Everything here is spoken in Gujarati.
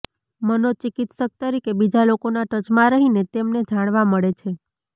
મનોચિકિત્સક તરીકે બીજા લોકોના ટચમાં રહીને તેમને જાણવા મળે છે